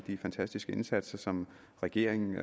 de fantastiske indsatser som regeringen